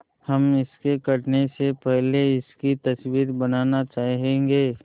हम इसके कटने से पहले इसकी तस्वीर बनाना चाहेंगे